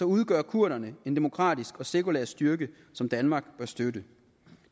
udgør kurderne en demokratisk og sekulær styrke som danmark bør støtte